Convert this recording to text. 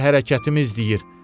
Hər hərəkətimi izləyir.